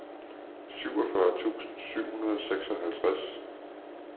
syvogfyrre tusind syv hundrede og seksoghalvtreds